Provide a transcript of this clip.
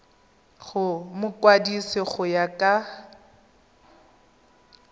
go mokwadise go ya ka